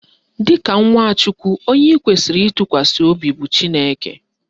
Dịka nwa Chukwu, onye ị kwesịrị ịtụkwasị obi bụ Chineke